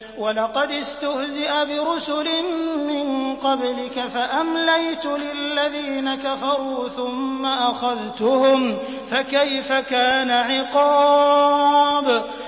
وَلَقَدِ اسْتُهْزِئَ بِرُسُلٍ مِّن قَبْلِكَ فَأَمْلَيْتُ لِلَّذِينَ كَفَرُوا ثُمَّ أَخَذْتُهُمْ ۖ فَكَيْفَ كَانَ عِقَابِ